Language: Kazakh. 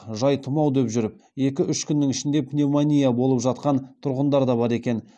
жай тұмау деп жүріп екі үш күннің ішінде пневмония болып жатқан тұрғындар да бар екен